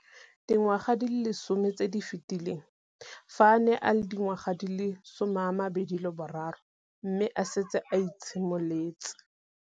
Dingwaga di le 10 tse di fetileng, fa a ne a le dingwaga di le 23 mme a setse a itshimoletse.